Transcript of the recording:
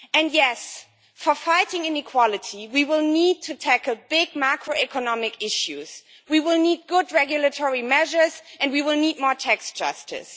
Yes, to fight inequality we will need to tackle big macroeconomic issues, we will need good regulatory measures and we will need more tax justice.